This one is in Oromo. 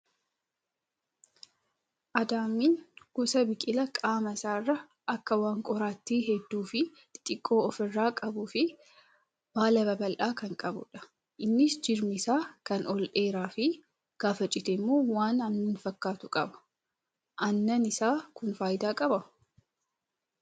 Adaamiin gosa biqilaa qaama isaarraa waan akak qoraattii hedduu fi xixiqqoo ofirraa qabuu fi baala babal'aa kan qabudha. Innis jirmi isaa kan ol dheeraa fi gaafa citemmoo waan aannan fakkaatu qaba. Aannan isaa kun fayidaa qabaa?